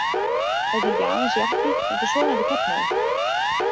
Þetta er ekki aðeins jakki heldur sofandi karlmaður.